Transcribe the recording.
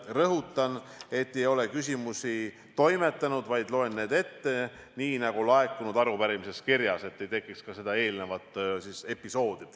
Rõhutan, et ei ole küsimusi toimetanud, vaid loen nad ette nii, nagu on laekunud arupärimises kirjas, et ei tekiks samasugust episoodi, nagu eelnevalt.